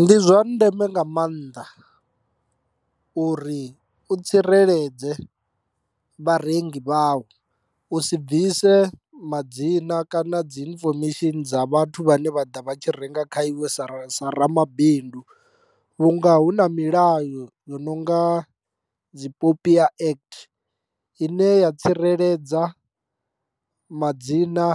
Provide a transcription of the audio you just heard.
Ndi zwa ndeme nga maanḓa uri u tsireledze vharengi vhau u si bvise madzina kana dzi infomesheni dza vhathu vhane vha ḓa vha tshi renga kha iwe sa ra sa ramabindu, vhunga hu na milayo yo no nga dzi popia act ine ya tsireledza madzina